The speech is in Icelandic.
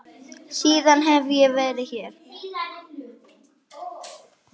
Síðan hef ég verið hér.